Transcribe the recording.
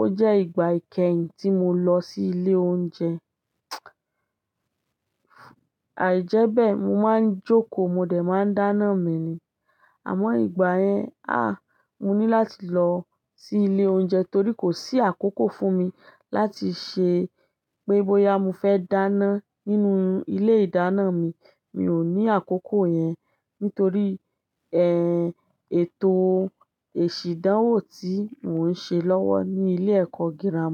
ó jẹ́ ìgbà kẹ́yìn tí mo lọ sí ilé oúnjẹ. Àìjẹ́bẹ̀ mo máa ń jókòó, mo dẹ̀ máa ń dáná mi ni. Àmọ́ ìgbà yẹn, àh! Mo ní láti lọ sí ilé oúnjẹ torí kò sí àkókò fún mi láti ṣe pé bóyá mo fẹ́ dáná nínú ilé ìdáná mi. Mi ò ní àkókò yẹn nítorí, ẹ́ èto èsì ìdánwò tí mò ń ṣe lọ́wọ́ ní ilé ẹ̀kọ́ gírámà.